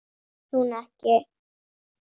Þetta vill hún ekki.